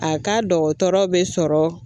A ka dɔgɔtɔrɔ be sɔrɔ